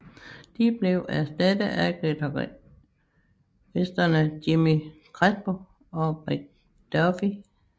De blev erstattet af guitaristerne Jimmy Crespo og Rick Dufay